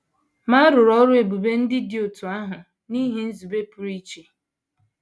Ma a rụrụ ọrụ ebube ndị dị otú ahụ n’ihi nzube pụrụ iche.